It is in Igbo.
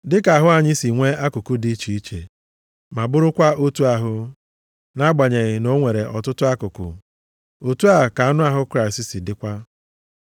Dịka ahụ anyị si nwe akụkụ dị iche iche, ma bụrụkwa otu ahụ, nʼagbanyeghị na o nwere ọtụtụ akụkụ, otu a ka anụ ahụ Kraịst dịkwa.